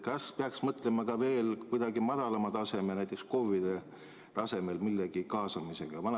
Kas peaks mõtlema ka veel kuidagi madalamal tasemel, näiteks KOV‑ide tasemel, millegi kaasamisele?